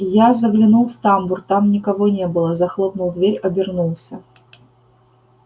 я заглянул в тамбур там никого не было захлопнул дверь обернулся